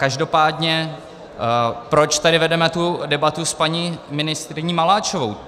Každopádně proč tady vedeme tu debatu s paní ministryní Maláčovou.